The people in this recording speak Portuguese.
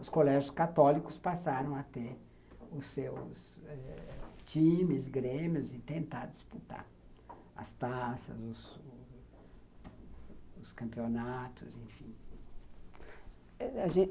Os colégios católicos passaram a ter os seus times, grêmios e tentar disputar as taças, os campeonatos, enfim.